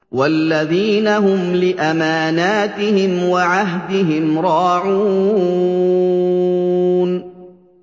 وَالَّذِينَ هُمْ لِأَمَانَاتِهِمْ وَعَهْدِهِمْ رَاعُونَ